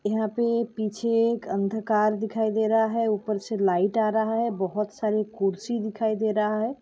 यहाँ पे पीछे एक अंधकार दिखाई दे रहा है ऊपर से लाइट आ रहा है बहुत सारी कुर्सी दिखाई दे रहा है।